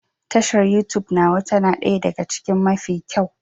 Tashar Youtube nawa ta na ɗaya daga cikin mafi kyau